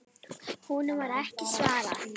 Honum var ekki svarað.